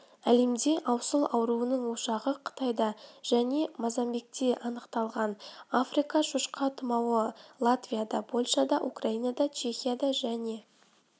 әлемде аусыл ауруының ошағы қытайда және мозамбикте анықталған африка шошқа тұмауы латвияда польшада украинада чехияда және